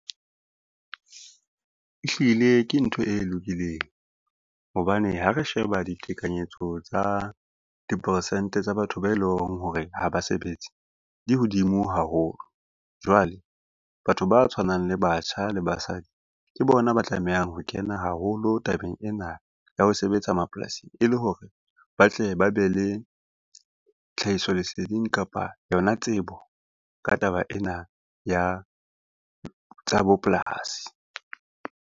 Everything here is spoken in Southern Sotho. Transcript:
Ehlile ke ntho e lokileng, hobane ha re sheba ditekanyetso tsa dipersente tsa batho be leng hore ha ba sebetse di hodimo haholo. Jwale batho ba tshwanang le batjha le basadi ke bona ba tlamehang ho kena haholo tabeng ena ya ho sebetsa mapolasing, e le hore ba tle ba be le tlhahiso leseding kapa yona tsebo ka taba ena ya tsa bopolasi.